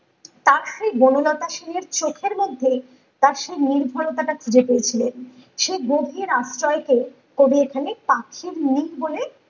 তার সেই বনলতা সেনের চোখের মধ্যে তার সেই নির্ভরতাটা খুঁজে পেয়েছিলেন সেই গভীর আশ্রয় কে কবি এখানে পাখির নির বলে